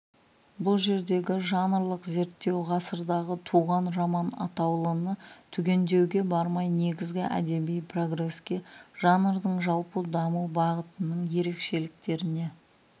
бұл жердегі жанрлық зерттеу ғасырдағы туған роман атаулыны түгендеуге бармай негізгі әдеби прогереске жанрдың жалпы даму бағытының ерекшеліктеріне